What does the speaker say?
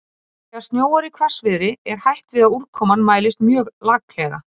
Þegar snjóar í hvassviðri er hætt við að úrkoman mælist mjög laklega.